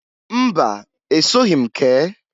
Mba! Esoghi m kee.